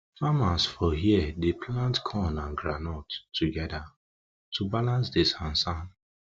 farmers for here dey plant corn and groundnut togeda to balance di sansan